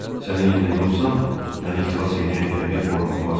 Sənin yerində olsam, məni xilas eləyən gəmiyə xor baxmazdım.